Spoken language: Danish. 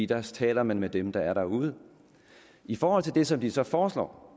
der taler man med dem der er derude i forhold til det som de så foreslår